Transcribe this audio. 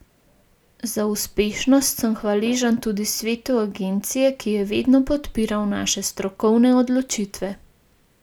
Za uspešnost sem hvaležen tudi svetu agencije, ki je vedno podpiral naše strokovne odločitve.